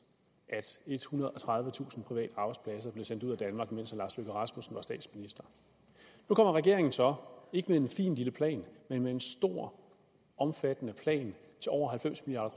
at ethundrede og tredivetusind private arbejdspladser blev sendt ud af danmark mens herre lars løkke rasmussen var statsminister nu kommer regeringen så ikke med en fin lille plan men med en stor omfattende plan til over halvfems milliard